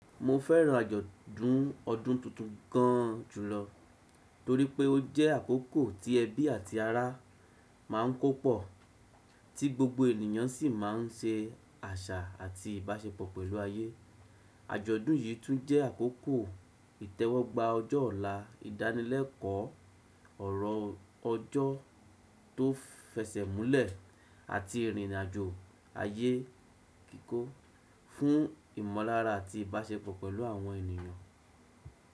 Mo fẹ́ràn àjọ̀dún ọdún tuntun gan julọ torí pé ó jẹ́ àkókò tí ẹbí àti ará ma ń kó pọ̀, tí gbogbo ènìyàn sì ma ń se àṣà àti ìbáṣepọ̀ pẹ̀lú ayé. Àjọ̀dún yìí tún jẹ́ àkókò ìtẹ́wọ́gba ọjọ́ ọ̀la, ìdánilẹ́kọ̀ọ́ ọ̀rọ̀ ọjọ́ tó fẹsẹ̀múlẹ̀, àti ìrìnàjò ayé kíkó fún ìmọ̀lára àti ìbáṣepọ̀ pẹ̀lú àwọn ènìyàn.